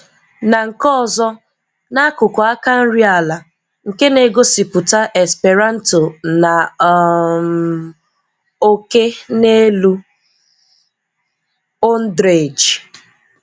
Na nke ọzọ, na akuku aka nri ala, nke na-egosiputa Esperanto na um òké n'elu. Ondrej